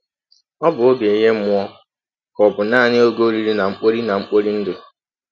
Ọ̀ bụ ọge ihe mmụọ, ka ọ̀ bụ nanị ọge oriri na mkpori na mkpori ndụ?